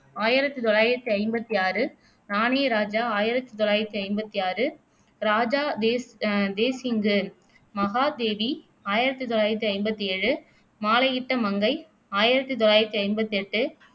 ஆயிரத்தி தொள்ளாயிரத்தி ஐம்பத்தி ஆறு, நானே ராஜா ஆயிரத்தி தொள்ளாயிரத்தி ஐம்பத்தி ஆறு, ராஜா தே அஹ் தேசிங்கு, மகாதேவி ஆயிரத்தி தொள்ளாயிரத்தி ஐம்பத்தி ஏழு, மாலையிட்ட மங்கை ஆயிரத்தி தொள்ளாயிரத்தி ஐம்பத்தி எட்டு